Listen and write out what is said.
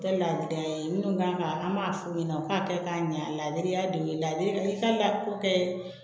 Dabila yen minnu kan ka an b'a f'u ɲɛna u k'a kɛ k'a ɲa a la de y'a don i ka la ko kɛ